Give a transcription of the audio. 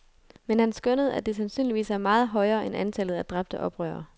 Men han skønnede, at det sandsynligvis er meget højere end antallet af dræbte oprørere.